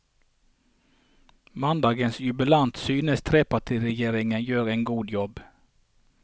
Mandagens jubilant synes trepartiregjeringen gjør en god jobb.